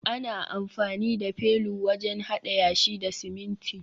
ana amfani da felu wajen hada yashi da siminti